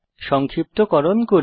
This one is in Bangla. সংক্ষিপ্তকরণ করি